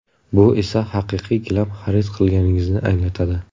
Bu esa haqiqiy gilam xarid qilganingizni anglatadi.